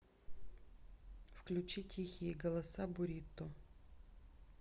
включи тихие голоса бурито